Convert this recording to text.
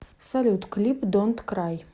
салют клип донт край